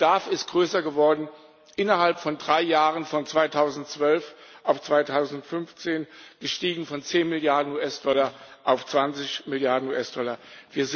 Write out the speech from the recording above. Der Bedarf ist größer geworden Innerhalb von drei Jahren, von 2012 bis 2015, ist er von 10 Milliarden US Dollar auf 20 Milliarden US-Dollar gestiegen.